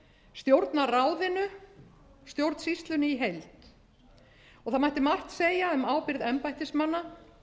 stjórnarráðinu stjórnsýslunni í heild það mætti margt segja um ábyrgð embættismanna